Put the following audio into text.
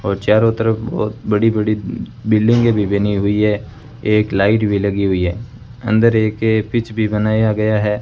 और चारों तरफ बहोत बड़ी बड़ी बिल्डिंगे भी बनी हुई है एक लाइट भी लगी हुई है अंदर एक ये पिच भी बनाया गया है।